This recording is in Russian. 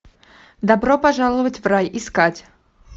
добро пожаловать в рай искать